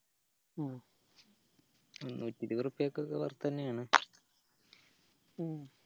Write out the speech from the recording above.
ഉം മുന്നൂറ്റി ഇരുപതുറപ്പിയ്ക്ക് ഒക്കെ worth എന്നെയാണ് ഉം